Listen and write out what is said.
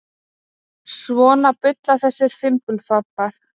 Svona bulla þessir fimbulfambar.